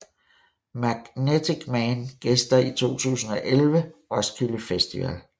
Magnetic Man gæster i 2011 Roskilde Festival